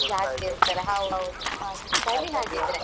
ಜಾಸ್ತಿ ಇರ್ತಾರೆ ಹೌದು ಹೌದು ಸರಿ ಹಾಗಿದ್ರೆ